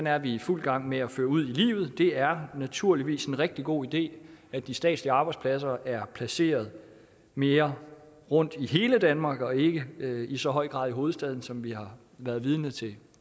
er vi i fuld gang med at føre ud i livet det er naturligvis en rigtig god idé at de statslige arbejdspladser er placeret mere rundt i hele danmark og ikke i så høj grad i hovedstaden sådan som vi har været vidne til